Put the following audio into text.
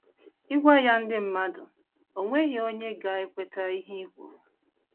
Ị gwa ya ndị mmadụ, o nweghị onye ga - ekweta ihe i kwuru.